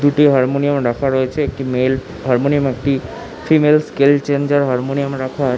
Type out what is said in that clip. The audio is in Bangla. দুটি হারমোনিয়াম রাখা রয়েছে একটি মেল্ হারমোনিয়াম একটি ফিমেল স্কেল চেঞ্জার হারমোনিয়াম রাখা আ--